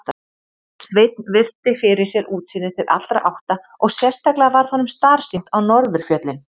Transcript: Sveinn virti fyrir sér útsýnið til allra átta og sérstaklega varð honum starsýnt á norðurfjöllin.